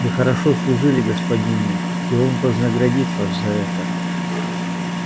вы хорошо служили господину и он вознаградит вас за это